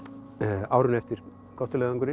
árinu eftir